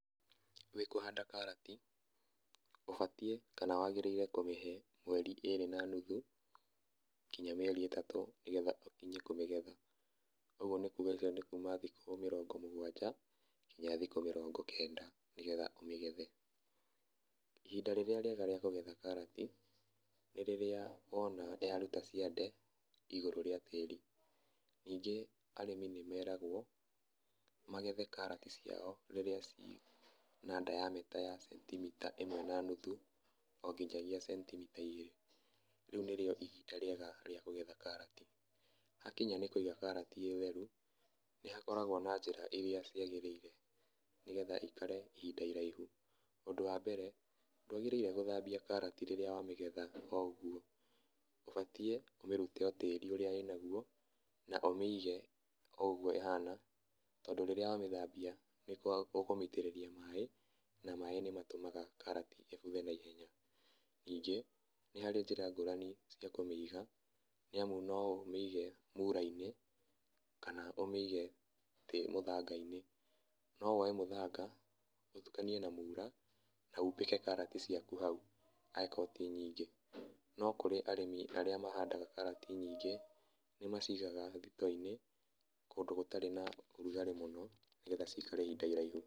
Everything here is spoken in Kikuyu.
Wĩkũhanda karati ũbatiĩ kana wagĩrĩire kũmĩhe mĩeri ĩrĩ na nuthu nginya mĩeri itatũ nĩgetha ũkinye kũmĩgetha. ũguo nĩkuga nĩ kuma thikũ mĩrongo mũgwanja nginya thikũ mĩrongo kenda nĩ getha ũmĩgethe. ihinda rĩrĩa rĩega rĩa kũhanda karati nĩ rĩrĩa wona yaruta ciande igũrũ rĩa tĩrĩ ningĩ arĩmi nĩmeragwo magethe karati ciao rĩrĩa ciĩna diameter ya centimita imwe na nuthu onginyagia centimita igĩrĩ rĩu nĩrĩo ihinda rĩrĩa rĩega rĩa kũgetha karati. Hakinya nĩ kũiga karati ĩtheru nĩ hakoragwo na njĩra irĩa ciagĩriire nĩgetha ikare ihinda iraihu , ũndũ wa mbere ndwagĩrĩirwo gũthambia karati rĩrĩa wa mĩgetha na kogwo ũbatiĩ ũmĩrute o tĩri ũrĩa ĩnaguo na ũmĩige o ũguo ĩhana tondũ rĩrĩa wamĩthambia nĩũkũmĩitĩrĩria maaĩ na maaĩ nĩmatumaga karati ĩbuthe na ihenya, ningĩ nĩharĩ njĩra nyingĩ cia kũmĩiga nĩ amu no ũmĩige mura-inĩ kana ũmĩige mũthanga-inĩ , no woe mũthanga ũtukanie na mura na umbĩke karati ciaku hau angĩkorwo ti nyingĩ, no kũrĩ arĩmi arĩa mahandaga karati nyingĩ nĩ macigaga thito-inĩ kũndũ gũtarĩ na ũrugarĩ mũno nĩgetha cikare ihinda iraihu